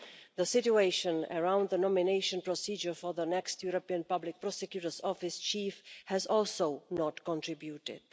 The situation around the nomination procedure for the next European Public Prosecutor's Office chief has also not contributed.